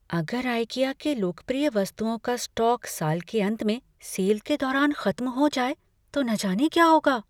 अगर आइकिया के लोकप्रिय वस्तुओं का स्टॉक साल के अंत में सेल के दौरान ख़त्म हो जाए तो न जाने क्या होगा।